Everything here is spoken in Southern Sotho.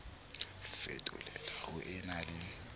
fetolela ho e na le